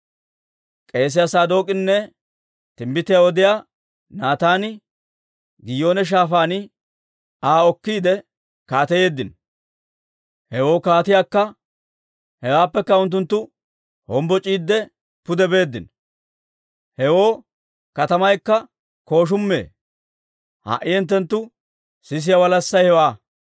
K'eesiyaa Saadook'inne timbbitiyaa odiyaa Naataani, Giyoone Shaafaan Aa okkiide kaateyeeddino; hewaappekka unttunttu hombboc'iidde pude beeddino; hewoo katamaykka kooshummee. Ha"i hinttenttu sisiyaa walassay hewaa.